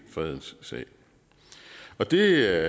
fredens sag og det